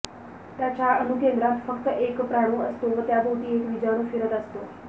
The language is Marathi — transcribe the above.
त्याच्या अणुकेंद्रात फक्त एक प्राणु असतो व त्याभोवती एक विजाणू फिरत असतो